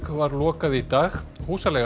var lokað í dag húsaleigan